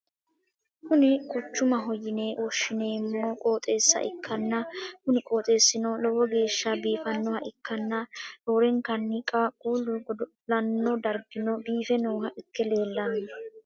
kini quchumaho yine woshhsi'neemmo qooxeessa ikkanna, kuni qooxeessino lowo geeshsha biifannoha ikkanna, roorenkanni qaaqqullu godo'lanno dargino biiffe nooha ikke leellanno.